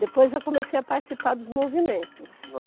Depois eu comecei a participar dos movimentos.